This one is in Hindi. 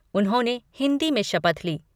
उन्होंने हिन्दी में शपथ ली।